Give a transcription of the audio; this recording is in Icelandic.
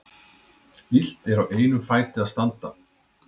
Illt er á einum fæti að standa.